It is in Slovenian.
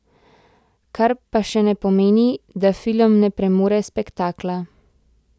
Kar pa še ne pomeni, da film ne premore spektakla.